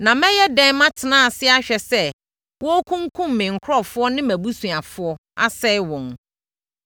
Na mɛyɛ dɛn matena ase ahwɛ sɛ wɔrekunkum me nkurɔfoɔ ne mʼabusuafoɔ, asɛe wɔn?”